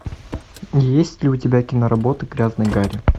есть ли у тебя киноработы грязный гарри